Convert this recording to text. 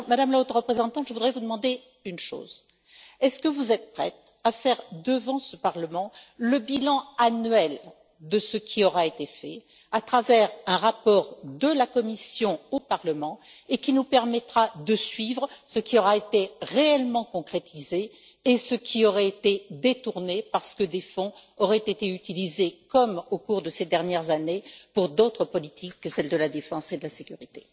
Alors, Madame la Haute représentante, je voudrais vous demander une chose est ce que vous êtes prête à faire, devant ce Parlement, le bilan annuel de ce qui aura été fait, à travers un rapport de la Commission au Parlement, ce qui nous permettra de suivre ce qui aura été réellement concrétisé et ce qui aurait été détourné, parce que des fonds auraient été utilisés, comme au cours de ces dernières années, pour d'autres politiques que celle de la défense et de la sécurité